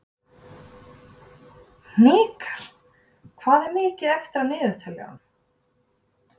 Hnikar, hvað er mikið eftir af niðurteljaranum?